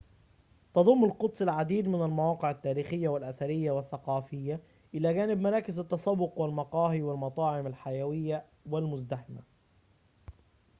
تضم القدس العديد من المواقع التاريخية والأثرية والثقافية إلى جانب مراكز التسوق والمقاهي والمطاعم الحيوية والمزدحمة